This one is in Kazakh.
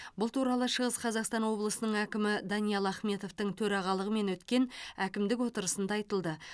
бұл туралы шығыс қазақстан облысының әкімі даниал ахметовтің төрағалығымен өткен әкімдік отырысында айтылды